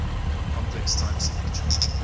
complex time signature